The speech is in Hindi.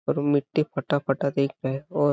पर मिट्टी फटा -फटा दिख रहा है. और--